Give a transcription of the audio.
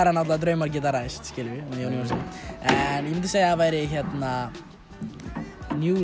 náttúrulega draumar geta ræst með Jóni Jónssyni en ég myndi segja að það væri New